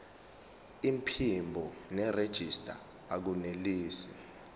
iphimbo nerejista akunelisi